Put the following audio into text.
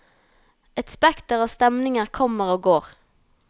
Et spekter av stemninger kommer og går.